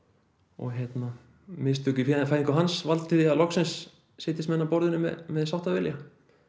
og mistök í fæðingu hans valdi því að loksins setjist menn að borðinu með sáttavilja